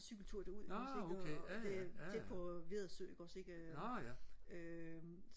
cykeltur derud ikke også ikke og og det er tæt på Vedersø ikke også ikke øh øh